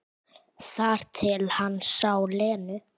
Þar til hann sá Lenu.